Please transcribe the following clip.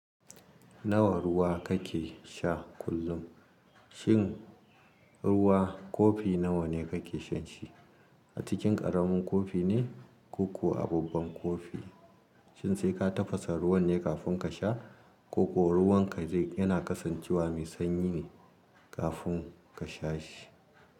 Nawa ruwa kake sha kullum? Shin ruwa kofi nawa ne kake shan shi? A cikin ƙaramin kofi ne koko a babban kofi? Shin sai ka tafasa ruwan ne kafin ka sha ko kuwa ruwan ka zai yana kasancewa mai sanyi ne kafin ka sha shi?